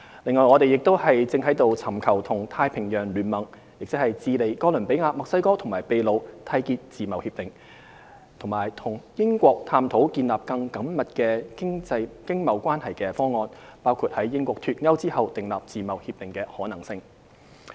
另外，我們亦正尋求與太平洋聯盟，即智利、哥倫比亞、墨西哥和秘魯締結自貿協定，以及與英國探討建立更緊密經貿關係的方案，包括在英國脫歐後訂定自貿協定的可能性。